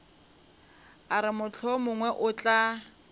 a re mohlomongwe o tla